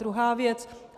Druhá věc.